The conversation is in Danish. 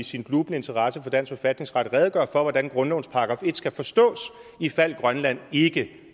sin glubende interesse for dansk forfatningsret redegøre for hvordan grundlovens § en skal forstås ifald grønland ikke